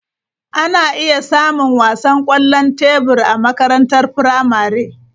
Ana iya samun wasan kwallon tebur a makarantar firamare.